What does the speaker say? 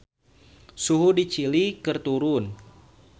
Suhu di Chili keur turun